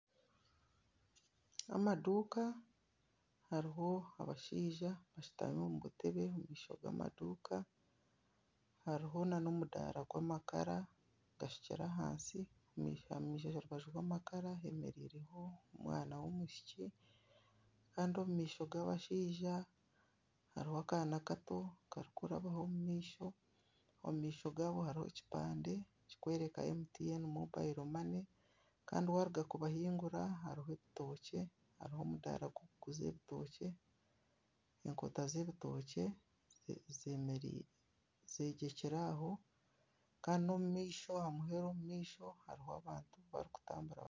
Amaduka hariho abashaija bashitami omu butebe omu maisho g'amaduka hariho na n'omudara gw'amakara gashukire ahansi. Aha rubaju rw'amakara, hemereiremu omwana w'omwishiki Kandi omu maisho g'abashaija hariho akaana Kato Kari kurabaho omu maisho. Omu maisho gaabo, harimu ebipande kirikwereka MTN mobayiro mane Kandi waruga kubahingura hariho ebitookye hariho omudaara gurikuguza ebitookye. Enkota z'ebitookye zegyekyire aho aandi n'omumaisho aha muheru hariho abantu abarikutambura.